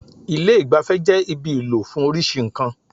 Ilé ìgbafẹ́ jẹ́ ibi ìlò fún oríṣi nǹkan.